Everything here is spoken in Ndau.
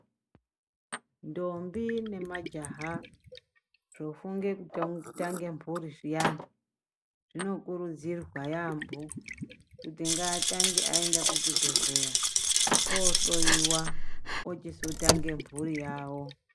Ndombi nemajaha zvofunge kutange mhuri zviyani zvinokurudzirwa yaamho kuti ngaatange aenda kuchibhehleya ohloyiwa ochizotange mhuri yawo.